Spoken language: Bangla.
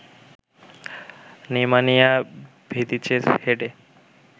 নেমানিয়া ভিদিচের হেডে